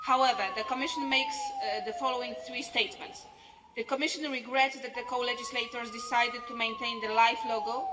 However, the Commission makes the following three statements The Commission regrets that the co-legislators decided to maintain the LIFE logo.